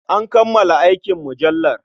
An kammala aikin mujallar.